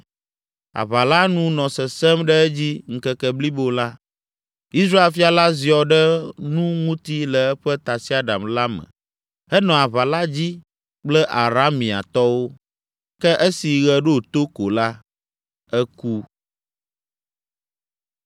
Aʋa la nu nɔ sesẽm ɖe edzi ŋkeke blibo la. Israel fia la ziɔ ɖe nu ŋuti le eƒe tasiaɖam la me henɔ aʋa la dzi kple Arameatɔwo, ke esi ɣe ɖo to ko la, eku.